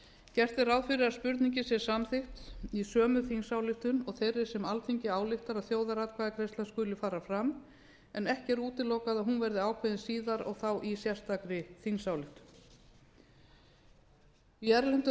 gert er ráð fyrir að spurningin sé samþykkt í sömu þingsályktun og þeirri sem alþingi ályktar að þjóðaratkvæðagreiðsla skuli fara fram en ekki er útilokað að hún verði ákveðin síðar og þá í sérstakri þingsályktun í erlendum